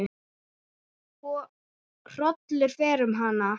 Hrollur fer um hana.